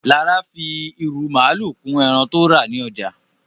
Lára fi irú màalu kún ẹran tó rà ní ọjà